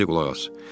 İndi qulaq as.